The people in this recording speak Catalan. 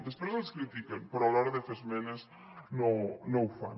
després ens critiquen però a l’hora de fer esmenes no ho fan